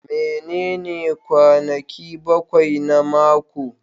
Menene kwanaki bakwai na mako?